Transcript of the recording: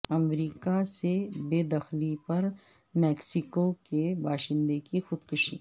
امریکہ سے بے دخلی پر میکسیکو کے باشندے کی خودکشی